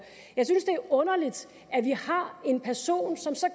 jeg synes det er underligt at vi har en person som så